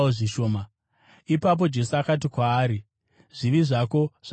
Ipapo Jesu akati kwaari, “Zvivi zvako zvaregererwa.”